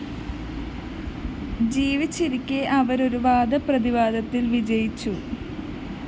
ജീവിച്ചിരിക്കെ അവര്‍ ഒരു വാദപ്രതിവാദത്തില്‍ വിജയിച്ചു